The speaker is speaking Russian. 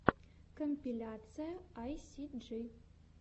компиляция айсиджи